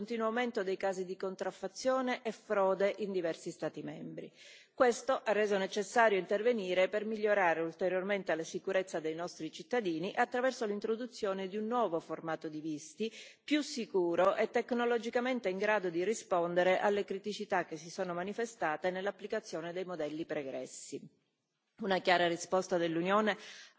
Tuttavia, in questo arco di tempo si è assistito ad un continuo aumento dei casi di contraffazione e frode in diversi Stati membri. Questo ha reso necessario intervenire per migliorare ulteriormente la sicurezza dei nostri cittadini, attraverso l'introduzione di un nuovo formato di visti, più sicuro e tecnologicamente in grado di rispondere alle criticità che si sono manifestate nell'applicazione dei modelli pregressi.